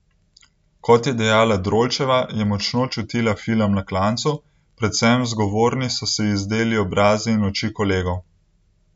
Kot je dejala Drolčeva, je močno čutila film Na klancu, predvsem zgovorni so se ji zdeli obrazi in oči kolegov.